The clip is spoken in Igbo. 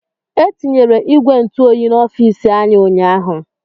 Etinyere ìgwè ntụ oyi n'ofici anyị ụnyaahụ.